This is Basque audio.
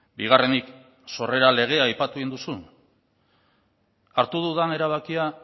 bigarrenik sorrera legea aipatu egin duzu hartu dudan erabakia